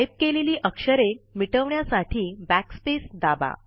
type केलेली आक्षरे मिटवन्यासाठी backspace दाबा